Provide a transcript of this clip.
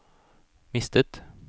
mistet